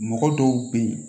Mɔgɔ dɔw bɛ yen